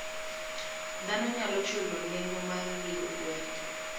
Dhano nyalo chulo nengo mar ring gweno.